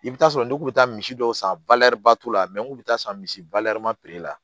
I bɛ taa sɔrɔ ne kun bɛ taa misi dɔw san la n kun bɛ taa san misi la